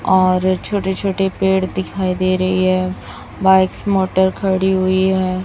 और छोटे छोटे पेड़ दिखाई दे रही है बाइक्स मोटर खड़ी हुई है।